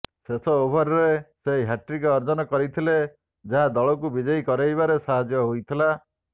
ଶେଷ ଓଭରରେ ସେ ହ୍ୟାଟ୍ରିକ୍ ଅର୍ଜନ କରିଥିଲେ ଯାହା ଦଳକୁ ବିଜୟୀ କରାଇବାରେ ସହାୟକ ହୋଇଥିଲା